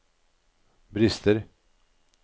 brister